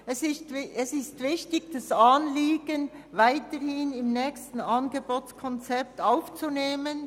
Es ist wichtig, das Anliegen weiterhin im nächsten Angebotskonzept 2025 aufzunehmen.